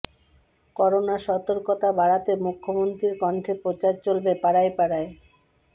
corona সতর্কতা বাড়াতে মুখ্যমন্ত্রীর কণ্ঠে প্রচার চলবে পাড়ায় পাড়ায়